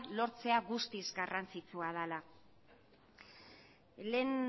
lortzea guztiz garrantzitsua dela lehen